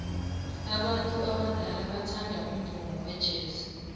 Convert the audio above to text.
abantu abadala bathanda umvumo wejazz